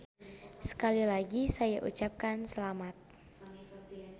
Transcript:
Sekali lagi saya ucapkan selamat.